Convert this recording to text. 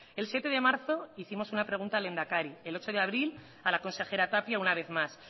el siete de marzo hicimos una pregunta al lehendakari el ocho de abril a la consejera tapia una vez más